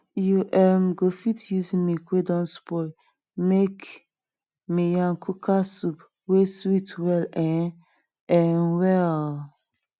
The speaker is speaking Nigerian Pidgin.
you um go fit use milk wey don spoil small make miyan kuka soup wey sweet well um um well